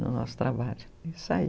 No nosso trabalho, isso aí.